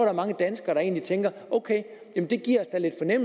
er mange danskere der egentlig tænker ok det giver